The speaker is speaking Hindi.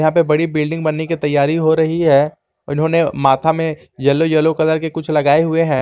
यहां पे बड़ी बिल्डिंग बनने की तैयारी रही है इन्होंने माथा में येलो येलो कलर के कुछ लगायें है।